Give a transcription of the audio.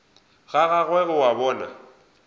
ga gagwe o a bona